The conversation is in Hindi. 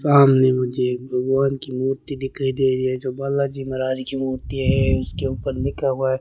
सामने मुझे एक भगवान की मूर्ति दिखाई दे रही है जो बालाजी महाराज की मूर्ति है उसके ऊपर लिखा हुआ है।